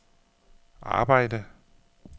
arbejde